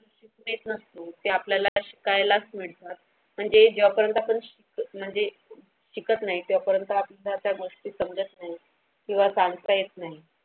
ते नसतं ते आपल्याला शिकायलाच मिळतात पण ते जेव्हा पर्यंत आपण म्हणजे शिकत नाही तेव्हापर्यंत आपल्याला त्या त्या गोष्टी समजत नाही किंवा सांगता येत नाही.